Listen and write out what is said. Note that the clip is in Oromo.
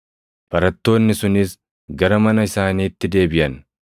Barattoonni sunis gara mana isaaniitti deebiʼan.